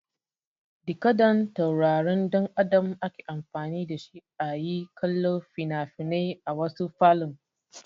Dikodan tauraron ɗan Adam ake amfani da shi a yi kallo fina-finai a wasu falon.